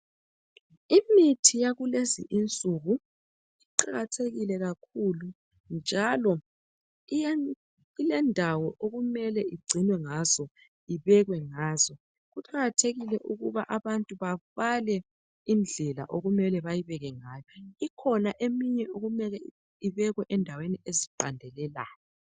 Imithi yakulezi nsuku iqakathekile kakhulu njalo ilendawo okumele igcinwe ngazo ibekwe ngazo kuqakathekile ukuba abantu babale indlela okumele bayibeke ngayo ikhona eminye okumele ibekwe endaweni eziqandelelayo.